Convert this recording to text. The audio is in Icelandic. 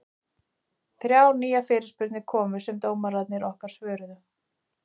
Þrjár nýjar fyrirspurnir komu sem dómararnir okkar svöruðu.